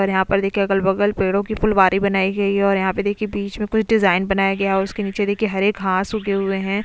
और यहां पर देखिए अगल बगल पेड़ों की पुलवारी बनाई गई है और यहां पे देखिए बीच में कुछ डिजाइन बनाया गया है और उसके नीचे देखिए हरे घास उगे हुए हैं।